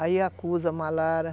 Aí acusa a malária.